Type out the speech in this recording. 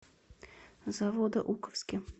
заводоуковске